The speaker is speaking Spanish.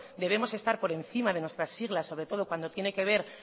debemos estar por encima de nuestras siglas sobre todos cuando tiene que ver